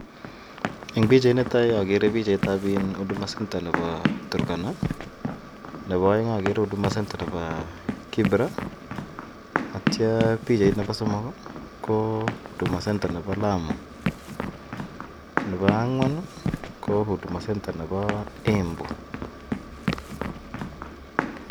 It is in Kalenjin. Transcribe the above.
Eng pichainito okere pichait Nebo huduma center nebo Turkana nebo oeng okere huduma center nebo kibra akityo pichait nebo somok ko huduma center nebo Lamu nebo ang'wan ko huduma center nebo Embu.